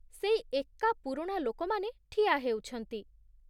ସେଇ ଏକା ପୁରୁଣା ଲୋକମାନେ ଠିଆ ହେଉଛନ୍ତି ।